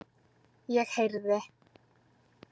Ég heyrði.